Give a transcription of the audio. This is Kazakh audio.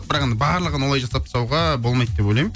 бірақ енді барлығын олай жасап тастауға болмайды деп ойлаймын